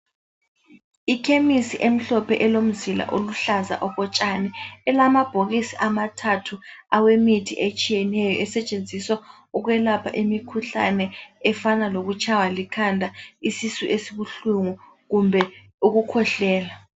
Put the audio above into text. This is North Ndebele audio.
Ikhemisi emhlophe elomzila oluhlaza okotshani, elamabhokisi amathathu awemithi etshiyeneyo, esetshenziswa ukwelapha imikhuhlane, efana lokutshaywa likhanda, isisu esibuhlungu kumbe ukukhwehlela.